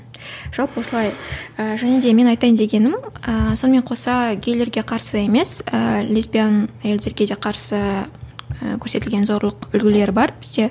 жалпы осылай і және де менің айтайын дегенім ііі сонымен қоса гейлерге қарсы емес ы лесбиян әйелдерге де қарсы көрсетілген зорлық үлгілері бар бізде